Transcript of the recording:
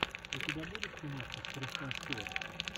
у тебя будет киношка с кристен стюарт